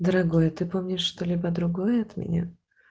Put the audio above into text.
дорогой ты помнишь что-либо другое от меня